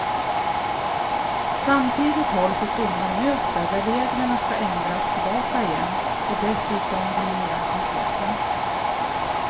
Samtidigt hålls ett domarmöte där reglerna skall ändras tillbaka igen och dessutom bli mera konkreta.